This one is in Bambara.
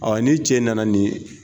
Awa ni cɛ nana nin